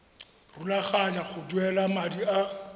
rulaganya go duela madi a